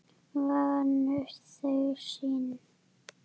Þar nutu þau sín.